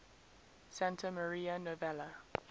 santa maria novella